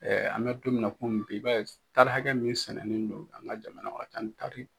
an bɛ don min na komi bi i b'a ye taari hakɛ min sɛnɛnen do an ka jamana kɔnɔ a ka can ni taari